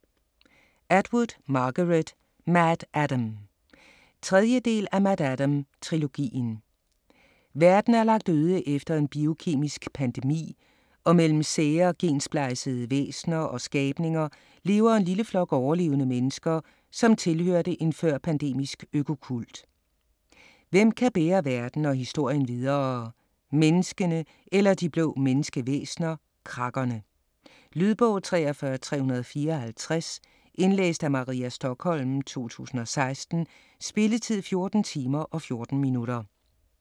Atwood, Margaret: MaddAddam 3. del af MaddAddam-trilogien. Verden er lagt øde efter en biokemisk pandemi, og mellem sære, gensplejsede væsner og skabninger lever en lille flok overlevende mennesker, som tilhørte en før-pandemisk økokult. Hvem kan bære verden og historien videre - menneskene eller de blå menneskevæsner Crakerne? Lydbog 43354 Indlæst af Maria Stokholm, 2016. Spilletid: 14 timer, 14 minutter.